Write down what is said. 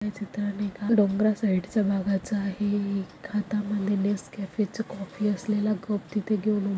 चित्रण एका डोंगरा साइड च भागाच आहे एक हातामध्ये नेस्कॅफे च कॉफी असलेल कप तिथ घ--